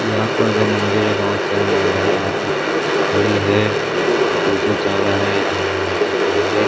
यहाँ पर दो मंदिर है बहोत सारी महिलाये यहाँ पर खड़ी है दो से चारा है एक खड़े हे।